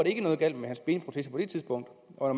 ikke noget galt med hans benprotese på det tidspunkt og